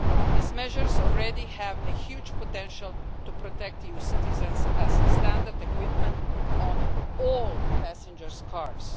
These measures already have a huge potential to protect EU citizens, as standard equipment on all passenger cars.